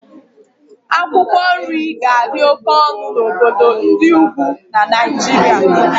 Akwụkwọ nri ga-adị oke ọnụ na obodo ndị ugwu na Naijiria